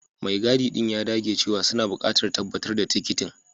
Mai gadi ɗin ya dage cewa suna buƙatar tabbatar da tikitin.